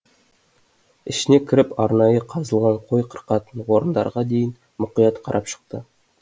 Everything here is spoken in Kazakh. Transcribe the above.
ішіне кіріп арнайы қазылған қой қырқатын орындарға дейін мұқият қарап шықты